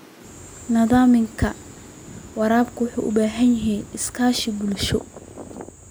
Nidaamka waraabka wuxuu u baahan yahay iskaashi bulsho.